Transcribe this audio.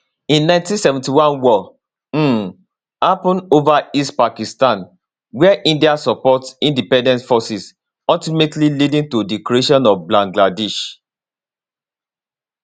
in 1971 war um happun ova east pakistan wia india support independence forces ultimately leading to di creation of bangladesh